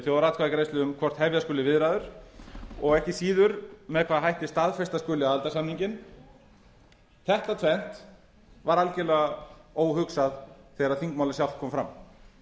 þjóðaratkvæðagreiðslu um hvort hefja skuli viðræður og ekki síður með hvaða hætti staðfesta skuli aðildarsamninginn þetta tvennt var algerlega óhugsað þegar þingmálið sjálft kom fram